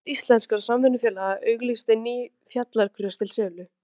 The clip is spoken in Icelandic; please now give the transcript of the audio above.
Samband íslenskra samvinnufélaga auglýsti ný fjallagrös til sölu.